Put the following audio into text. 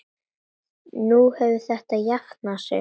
Nú hefur þetta jafnað sig.